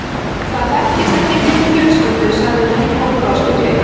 Það þekkist ekki í minni fjölskyldu sagði hún og brosti gleitt.